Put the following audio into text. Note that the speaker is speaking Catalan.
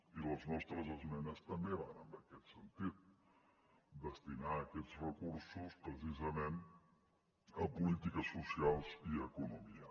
i les nostres esmenes també van en aquest sentit destinar aquests recursos precisament a polítiques socials i economia